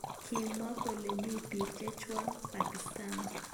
Kimwa kole mi bik. chechwak Pakisatan.